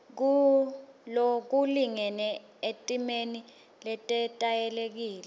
lokulingene etimeni letetayelekile